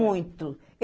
Muito.